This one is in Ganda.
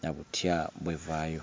na butya bw'evaayo.